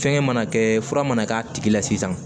Fɛngɛ mana kɛ fura mana k'a tigi la sisan